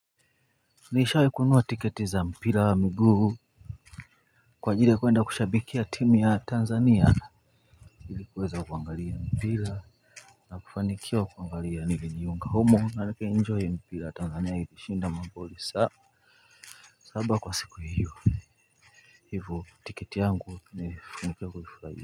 Nishawahi kunua tiketi za mpira wa miguu kwa ajili ya kuenda kushabikia timu ya Tanzania ili kuweza kuangalia mpira na kufanikiwa kuangalia nilini jiunga humo na nika enjoy mpira Tanzania ilishinda magoli sawa saba kwa siku hiyo hivo tiketi yangu nifanikiwa kuifurahia.